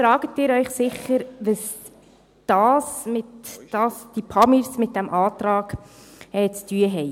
Nun fragen Sie sich sicher, was die «Pamirs» mit diesem Antrag zu tun haben.